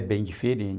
É bem diferente.